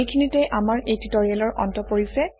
এইখিনিতে আমাৰ এই টিউটৰিয়েলৰ অন্ত পৰিছে